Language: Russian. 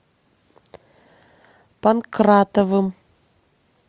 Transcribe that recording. панкратовым